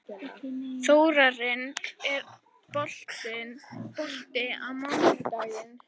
Þórarinn, er bolti á mánudaginn?